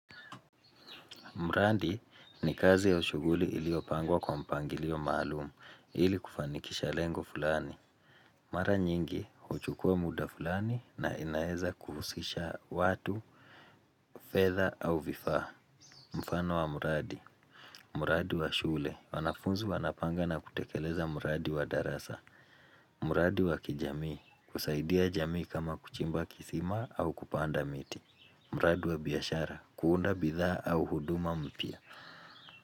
Mradi ni kazi au shughuli iliyopangwa kwa mpangilio maalumu ili kufanikisha lengo fulani. Mara nyingi, huchukua muda fulani na inaeza kuhusisha watu, fedha au vifaa. Mfano wa mradi. Mradi wa shule. Wanafunzi wanapanga na kutekeleza mradi wa darasa. Mradi wa kijamii. Kusaidia jamii kama kuchimba kisima au kupanda miti. Mradi wa biashara. Kuunda bidhaa au huduma mpya.